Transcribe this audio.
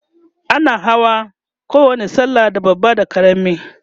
ana yin Hawa bayan kowani sallah da babba da karami